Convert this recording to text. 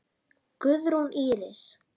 Guðrún Íris.